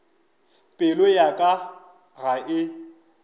pelo ya ka ga e